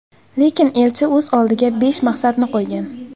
Lekin elchi o‘z oldiga besh maqsadni qo‘ygan.